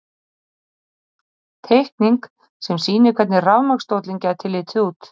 Teikning sem sýnir hvernig rafmagnsstóllinn gæti litið út.